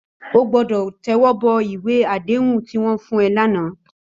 Ó gbòdò tèwòbò iwé àdéhún tiwòn fún è làná